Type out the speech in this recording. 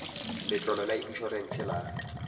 letlole la in orense la